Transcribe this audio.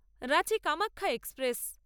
Ranchi Kamakhya express